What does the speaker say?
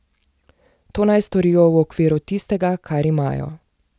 To naj storijo v okviru tistega, kar imajo.